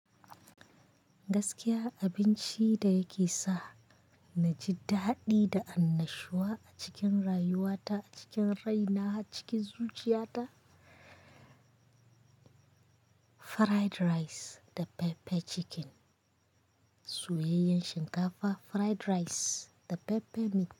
Gaskiya abinci da yake sa na ji daɗi da annashuwa a cikin rayuwa ta a cikin raina a cikin zuciya ta fried rice da pepper chicken. Suyehen shinkafa fried rice da pepper meat.